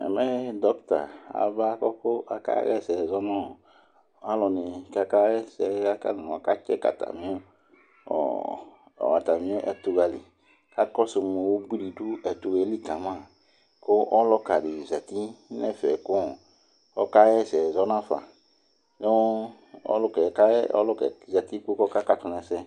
ɛmɛ dɔcta aba kʋ ɔka yɛsɛ zɔnʋ alʋni ka aka yɛsɛ aka ckɛcki ataii ɔɔ atami ɛtʋwali ka kɔsʋ mʋ ʋbʋi di dʋ ɛtʋwali kama kʋ ɔlʋka di zɛti nɛfɛ kʋ ɔka yɛsɛ zɔ nafa nʋ ɔlʋkɛ kayɛ ɔlʋkɛ zɛti kɔ ka tʋ nɛsɛ